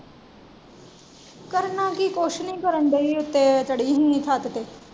ਕਰਨਾ ਕੀ ਕੁਛ ਨੀ ਕਾਰਨ ਡੀਈ ਉੱਤੇ ਚੜ੍ਹੀ ਸੀ ਛੱਤ ਤੇ।